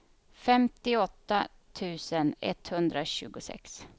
femtioåtta tusen etthundratjugosex